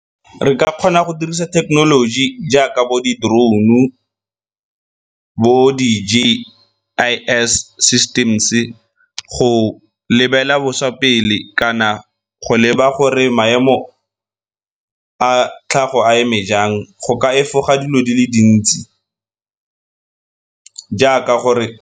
Re ka kgona go dirisa thekenoloji jaaka bo di-drone-u bo di-J_I_S systems-e go lebelela boswa pele kana go leba gore maemo a tlhago a eme jang go ka efoga dilo di le dintsi jaaka gore.